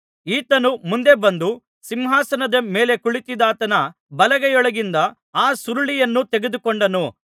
ಈತನು ಮುಂದೆ ಬಂದು ಸಿಂಹಾಸನದ ಮೇಲೆ ಕುಳಿತಿದ್ದಾತನ ಬಲಗೈಯೊಳಗಿಂದ ಆ ಸುರುಳಿಯನ್ನು ತೆಗೆದುಕೊಂಡನು